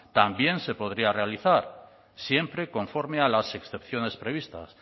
también se podría realizar siempre conforme a las excepciones previstas